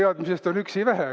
Teadmisest on üksi vähe.